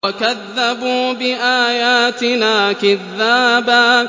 وَكَذَّبُوا بِآيَاتِنَا كِذَّابًا